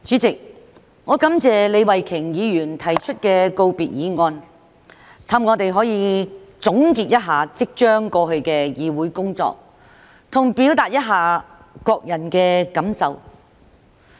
主席，我感謝李慧琼議員提出告別議案，讓我們可以總結一下即將過去的議會工作，以及表達一下各人的感受。